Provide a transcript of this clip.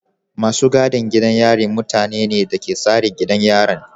Masu gadin gidan yari mutane ne da ke tsare gidan yarin.